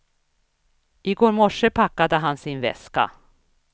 I går morse packade han sin väska.